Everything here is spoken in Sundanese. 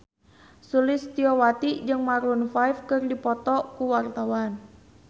Sulistyowati jeung Maroon 5 keur dipoto ku wartawan